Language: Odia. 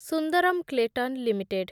Sundaram Clayton limited